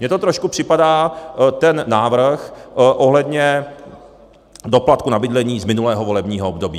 Mně to trošku připadá, ten návrh ohledně doplatku na bydlení z minulého volebního období.